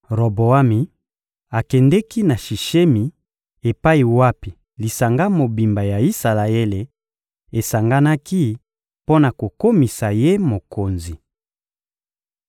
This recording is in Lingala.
Roboami akendeki na Sishemi epai wapi lisanga mobimba ya Isalaele esanganaki mpo na kokomisa ye mokonzi.